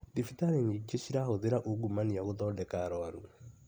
Thibitarĩ nyingĩ cirahũthĩra ungumania gũthondeka arwaru.